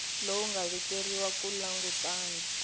lowu nga vekeriwa ku langutana